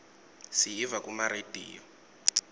siyiva kuma rediyo